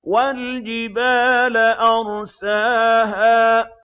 وَالْجِبَالَ أَرْسَاهَا